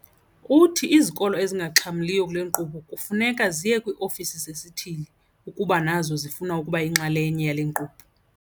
Uthi izikolo ezingaxhamliyo kule nkqubo kufuneka ziye kwii-ofisi zesithili ukuba nazo zifuna ukuba yinxalenye yale nkqubo.